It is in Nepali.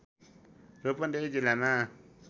रूपन्देही जिल्लामा